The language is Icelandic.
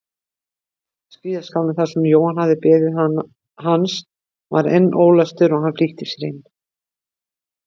Skíðaskálinn þar sem Jóhann hafði beðið hans var enn ólæstur og hann flýtti sér inn.